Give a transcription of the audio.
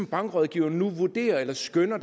bankrådgiver nu vurderer eller skønner